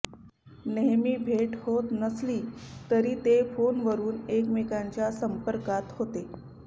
नेहमी भेट होत नसली तरी ते फोनवरुन एकमेकांच्या संपर्कात होते